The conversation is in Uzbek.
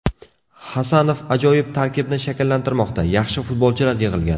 Hasanov ajoyib tarkibni shakllantirmoqda, yaxshi futbolchilar yig‘ilgan.